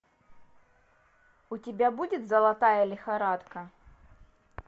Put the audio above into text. у тебя будет золотая лихорадка